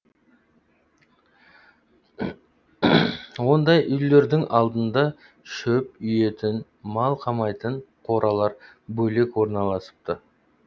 ондай үйлердің алдында шөп үйетін мал қамайтын қоралар бөлек орналасыпты